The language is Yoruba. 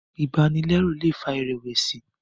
ibanilẹru lè fà irẹwẹsi